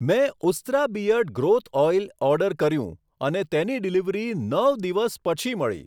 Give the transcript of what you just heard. મેં Ustraa beard growth oil order કર્યું અને તેની ડિલિવરી નવ દિવસ પછી મળી.